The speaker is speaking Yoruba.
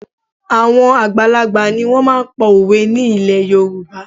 Àwọn àgbàlagbà ni wọ́n máa ń pa òwe ní ilẹ̀ Yorùbá